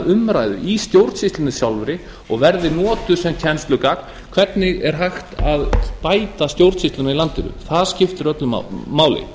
umræðu í stjórnsýslunni sjálfri og verði notuð sem kennslugagn hvernig er hægt að bæta stjórnsýsluna í landinu það skiptir öllu máli